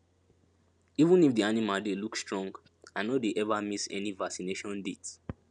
even if the animals dey look strong i no dey ever miss any vaccination date